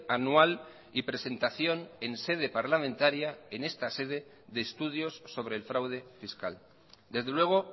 anual y presentación en sede parlamentaria en esta sede de estudios sobre el fraude fiscal desde luego